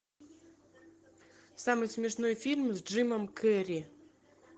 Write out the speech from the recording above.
самый смешной фильм с джимом керри